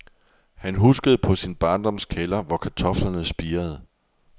Han huskede på sin barndoms kælder, hvor kartoflerne spirede.